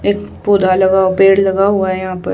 एक पुरा लगा पेड़ लगा हुआ है यहां पर।